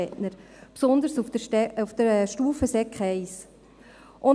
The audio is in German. wir haben es schon von anderen Rednerinnen und Rednern gehört.